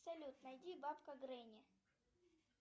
салют найди бабка гренни